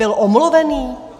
Byl omluvený?